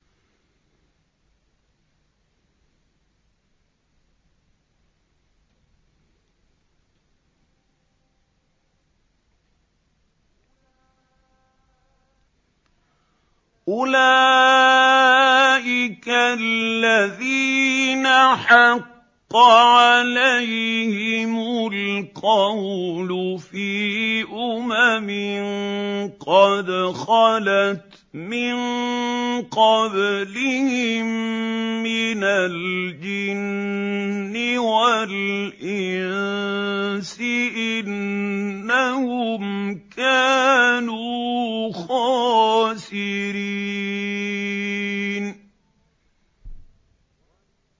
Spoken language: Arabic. أُولَٰئِكَ الَّذِينَ حَقَّ عَلَيْهِمُ الْقَوْلُ فِي أُمَمٍ قَدْ خَلَتْ مِن قَبْلِهِم مِّنَ الْجِنِّ وَالْإِنسِ ۖ إِنَّهُمْ كَانُوا خَاسِرِينَ